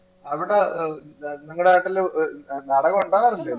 അവിടെ ഏർ നിങ്ങളെ നിങ്ങടെ നാട്ടില് നാടകം ഉണ്ടാവാറില്ലേ